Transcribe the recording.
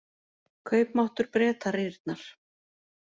Kaupmáttur Breta rýrnar